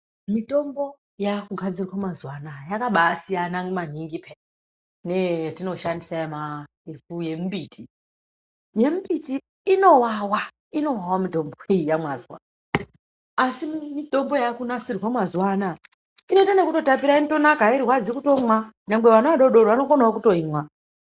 Mitombo yakugadzirwa mazwano yakabasiyana manhingi neyatoshandisa yemubiti yemubiti inowawa mitombo iyi wazwa asi mitombo yakunasirwa mazwanaya inoita nokutapira inotonaka hairwadzi kumwa vana vadodori vanotoimwa